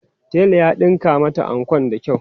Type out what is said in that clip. tela ya ɗinka mata anko da kyau.